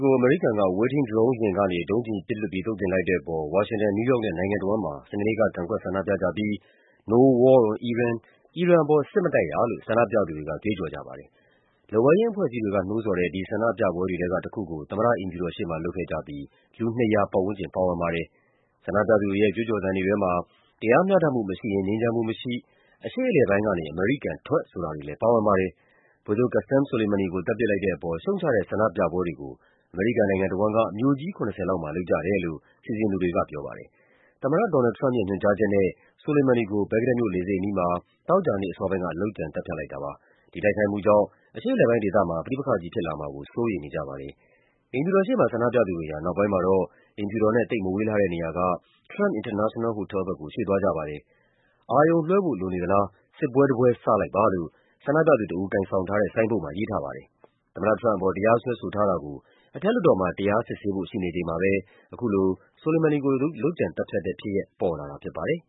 ကို အမေရိကန်က အဝေးထိန်းဒရုံးယာဉ်ကနေ ဒုံးကျည်ပစ်လွှတ်ပြီး သုတ်သင်လိုက်တဲ့အပေါ် ဝါရှင်တန်၊ နယူးယောက်နဲ့ နိုင်ငံတဝန်းမှာ စနေနေ့က ကန့်ကွက်ဆန္ဒပြကြပြီး “no war on iran” “အီရန်ပေါ် စစ်မတိုက်ရ” လို့ ဆန္ဒပြသူတွေက ကြွေးကြော်ကြပါတယ်။ လက်ဝဲယိမ်းအဖွဲ့အစည်းတွေက နှိုးဆော်တဲ့ ဒီဆန္ဒပြပွဲတွေထဲကတခုကို သမ္မတအိမ်ဖြူတော် ရှေ့မှာ လုပ်ခဲ့ကြပြီး လူ ၂၀၀ ပတ်ဝန်းကျင်ပါဝင်ပါတယ်။ ဆန္ဒပြသူတွေရဲ့ ကြွေးကြော်သံတွေ ထဲမှာ “တရားမျှတမှုမရှိရင် ငြိမ်းချမ်းမှုမရှိ၊ အရှေ့အလယ်ပိုင်းကနေ အမေရိကန်ထွက်” ဆိုတာတွေလည်း ပါဝင်ပါတယ်။ ဗိုလ်ချုပ် Qasem Soleimani ကို သတ်ပစ်လိုက်တဲ့အပေါ် ရှုတ်ချတဲ့ဆန္ဒပြပွဲတွေကို အမေရိကန် နိုင်ငံတဝန်းက မြို့ကြီး ၇၀ လောက်မှာ လုပ်ကြတယ်လို့ စီစဉ်သူတွေကပြောပါတယ်။ သမ္မတ Donald Trump ရဲ့ ညွှန်ကြားချက်နဲ့ Soleimani ကို ဘဂ္ဂဒက်မြို့ လေဆိပ်အနီးမှာ သောကြာနေ့အစောပိုင်းက လုပ်ကြံသတ်ဖြတ်လိုက်တာပါ။ ဒီတိုက်ခိုက်မှုကြောင့် အရှေ့အလယ်ပိုင်းဒေသမှာ ပဋိပက္ခကြီးဖြစ်လာမှာကို စိုးရိမ်နေကြပါတယ်။ အိမ်ဖြူတော်ရှေ့မှာ ဆန္ဒပြသူတွေဟာ နောက်ပိုင်းမှာတော့ အိမ်ဖြူတော်နဲ့ သိပ်မဝေးလှတဲ့နေရာက Trump International Hotel ဘက်ကို ရွှေ့သွားကြပါတယ်။ “အာရုံလွှဲဖို့ လိုနေသလား၊ စစ်ပွဲတပွဲ စလိုက်ပါ” လို့ ဆန္ဒပြသူတဦး ကိုင်ဆောင်ထားတဲ့ ဆိုင်းဘုတ်မှာ ရေးထားပါတယ်။ သမ္မတ Trump အပေါ် တရားစွဲထားတာကို အထက်လွှတ်တော်မှာ တရားစစ်ဆေးဖို့ ရှိနေချိန်မှာပဲ အခုလို Soleimani ကို လုပ်ကြံသတ်ဖြတ်တဲ့ဖြစ်ရပ် ပေါ်လာတာဖြစ်ပါတယ်။